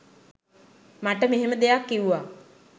මට මෙහෙම දෙයක් කිව්ව